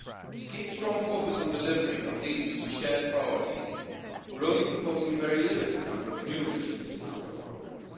To keep strong focus on delivery on these shared priorities, we are only proposing a very limited number of new initiatives in our work programme.